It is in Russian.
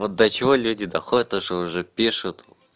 вот до чего люди доходят то что уже пишут